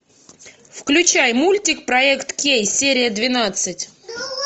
включай мультик проект кей серия двенадцать